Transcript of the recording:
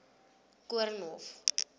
koornhof